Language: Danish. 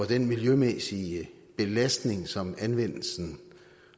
den miljømæssige belastning som anvendelsen